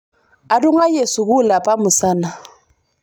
atungaye sukul apa musana